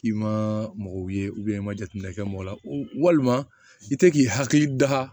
I ma mɔgɔw ye i ma jateminɛ kɛ mɔgɔ la walima i tɛ k'i hakili da